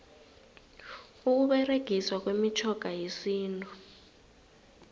ukuberegiswa kwemitjhoga yesintu